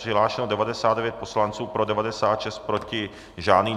Přihlášeno 99 poslanců, pro 96, proti žádný.